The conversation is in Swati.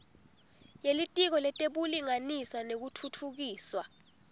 yelitiko letebulungiswa nekutfutfukiswa